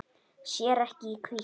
Sér ekki í hvítt.